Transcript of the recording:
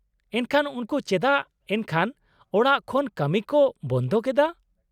- ᱮᱱᱠᱷᱟᱱ ᱩᱱᱠᱩ ᱪᱮᱫᱟᱜ ᱮᱱᱠᱷᱟᱱ ᱚᱲᱟᱜ ᱠᱷᱚᱱ ᱠᱟᱹᱢᱤ ᱠᱚ ᱵᱚᱱᱫᱷᱚ ᱠᱮᱫᱟ ?